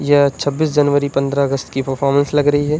यह जनवरी पंद्रह अगस्त की परफॉर्मेंस लग रही है।